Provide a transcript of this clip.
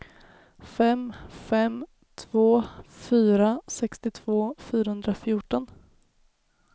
fem fem två fyra sextiotvå fyrahundrafjorton